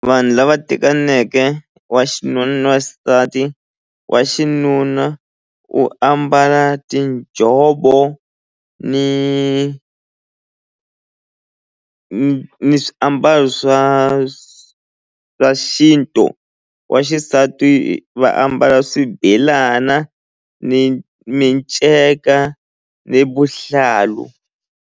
Vanhu lava tekaneke wa xinuna wa xisati wa xinuna u ambala tinjhovo ni ni swiambalo swa swa xintu wa xisati va ambala swibelana ni minceka ni vuhlalu.